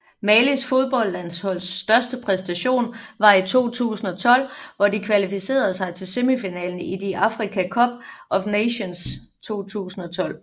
Malis fodboldlandsholds største præstation var i 2012 hvor de kvalificerede sig til semifinalen i de Africa Cup of Nations 2012